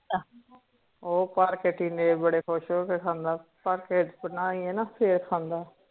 ਓ ਘਰ ਕੇ ਟੀਂਡੇ ਬੜੇ ਖੁਸ਼ ਹੋਕੇ ਖਾਂਦਾ ਘਰ ਕੇ ਫੇਰ ਖਾਂਦਾ